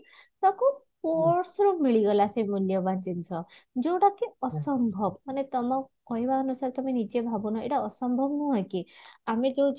ତାକୁ purse ର ମିଳିଗଲା ସେ ମୂଲ୍ୟବାନ ଜିନିଷ ଯଉଟା କି ଅସମ୍ଭବ ମାନେ ତମ କହିବା ଅନୁସାରେ ତମେ ନିଜେ ଭାବୁନ ଏଇଟା ଅସମ୍ଭବ ନୁହେଁ କି ଆମେ ଯଉ